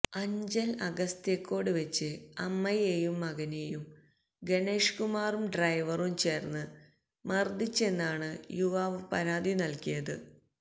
അഞ്ചല് അഗസ്ത്യകോട് വെച്ച് അമ്മയെയും മകനെയും ഗണേഷ് കുമാറും ഡ്രൈവറും ചേര്ന്ന് മര്ദ്ദിച്ചെന്നാണ് യുവാവ് പരാതി നല്കിയത്